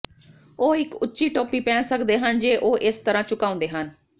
ਉਹ ਇਕ ਉੱਚੀ ਟੋਪੀ ਪਹਿਨ ਸਕਦੇ ਹਨ ਜੇ ਉਹ ਇਸ ਤਰ੍ਹਾਂ ਝੁਕਾਉਂਦੇ ਹਨ